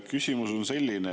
Küsimus on selline.